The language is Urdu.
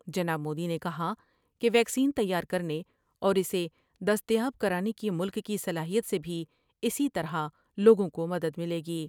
جناب مودی نے کہا کہ ویکسین تیار کر نے اور ا سے دستیاب کرانے کی ملک کی صلاحیت سے بھی اسی طرح لوگوں کو مدد ملے گی ۔